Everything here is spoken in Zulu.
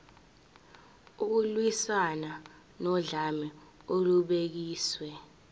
ukulwiswana nodlame olubhekiswe